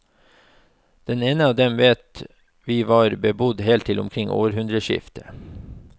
Det ene av dem vet vi var bebodd helt til omkring århundreskiftet.